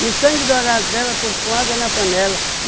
E o sangue dourado dela pôs com água na panela.